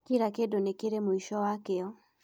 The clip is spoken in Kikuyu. Kira kĩndũ nĩ kĩrĩ mũico wakĩo